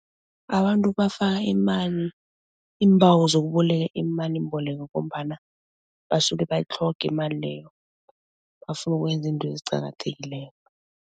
Abantu bafaka imali iimbawo zokuboleka imalimbeleko ngombana basuke bayitlhoga imali leyo bafuna ukwenza into ezicakathekileko.